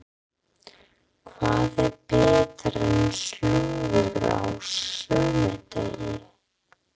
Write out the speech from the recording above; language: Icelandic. Hvað er betra en slúður á sunnudegi?